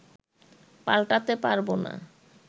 পাল্টাতে পারব না